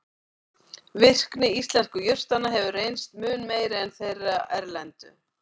Virkni íslensku jurtanna hefur reynst mun meiri en þeirra erlendu.